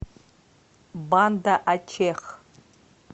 банда ачех